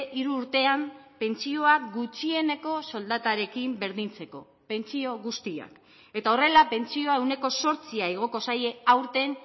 hiru urtean pentsioak gutxieneko soldatarekin berdintzeko pentsio guztiak eta horrela pentsioa ehuneko zortzia igoko zaie aurten